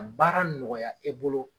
Ka baara nɔgɔya e bolo